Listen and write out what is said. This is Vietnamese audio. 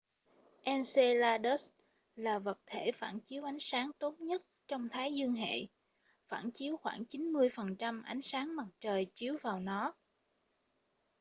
enceladus là vật thể phản chiếu ánh sáng tốt nhất trong thái dương hệ phản chiếu khoảng 90% ánh sáng mặt trời chiếu vào nó